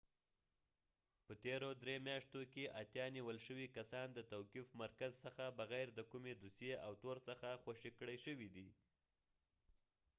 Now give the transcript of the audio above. په تیرو درې میاشتو کښې اتیا نیول شوي کسان د توقیف مرکز څخه بغیر د کومي دوسیې او تور څخه خوشي کړي شوي دي